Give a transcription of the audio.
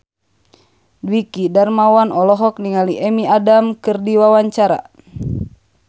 Dwiki Darmawan olohok ningali Amy Adams keur diwawancara